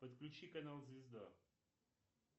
подключи канал звезда